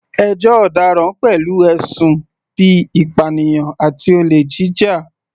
Ẹjọ́ ọ̀daràn pẹ̀lú ẹ̀sùn bíi ìpànìyàn àti olè jíjà.